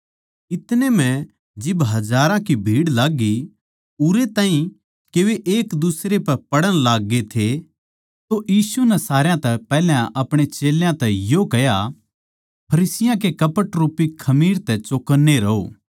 इतनै म्ह जिब हजारां की भीड़ लाग्गी उरै ताहीं के वे एकदुसरे पै पड़ण लाग्गे थे तो यीशु नै सारया तै पैहल्या अपणे चेल्यां तै यो कह्या फरीसियाँ कै कपट रूपी खमीर तै चौकन्ने रहो